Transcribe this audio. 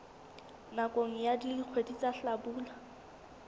nakong ya dikgwedi tsa hlabula